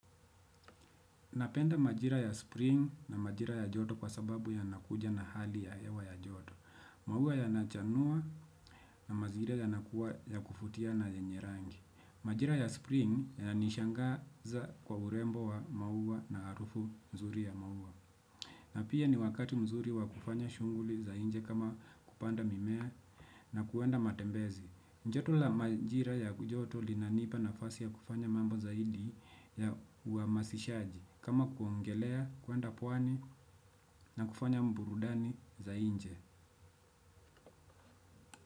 Napenda majira ya spring na majira ya joto kwa sababu yanakuja na hali ya hewa ya joto. Maua yanachanua na mazingira yanakuwa ya kuvutia na yenye rangi. Majira ya spring yananishangaza kwa urembo wa maua na harufu mzuri ya maua. Na pia ni wakati mzuri wa kufanya shughuli za nje kama kupanda mimea na kuenda matembezi. Joto la majira ya joto linanipa nafasi ya kufanya mambo zaidi ya uhamasishaji. Kama kuogelea, kenda pwani na kufanya burudani za nje.